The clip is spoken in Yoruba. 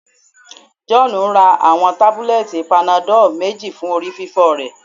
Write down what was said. John ra awọn tabulẹti panadol meji fun orififo rẹ